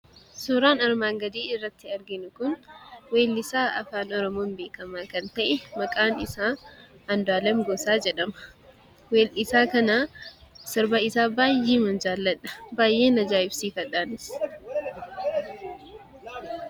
Suuraan armaan gadii irratti arginu kun, weellisaa afaan oromoon beekkamaa kan ta'e, maqaan isaa Andu'aalem Gosaa jedhama. weellisaa kana, sirba isaa baayyeman jaaladha. Baayyeen ajaa'ibsiifadhaanis.